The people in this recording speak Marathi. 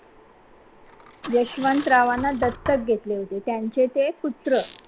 यशवंतरावांना दत्तक घेतले होते, त्यांचे ते पुत्र शाहू